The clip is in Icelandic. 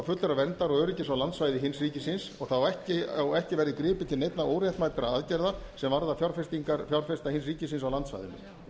fullrar verndar og öryggis á landsvæði hins ríkisins og ekki verði gripið til neinna óréttmætra aðgerða sem varða fjárfestingar fjárfesta hins ríkisins á landsvæðinu